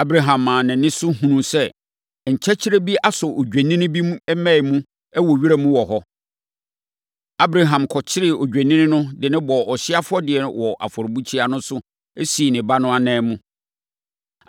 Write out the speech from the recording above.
Abraham maa nʼani so hunuu sɛ nkyɛkyerɛ bi asɔ odwennini bi mmɛn mu wɔ wira no mu hɔ. Abraham kɔkyeree odwennini no de no bɔɔ ɔhyeɛ afɔdeɛ wɔ afɔrebukyia no so, sii ne ba no ananmu.